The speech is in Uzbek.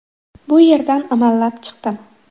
Bu yerdan amallab chiqdim.